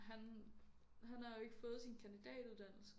Han han har jo ikke fået sin kandidatuddannelse